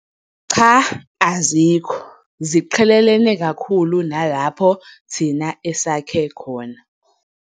Cha, azikho ziqhelelene kakhulu nalapho thina esakhe khona.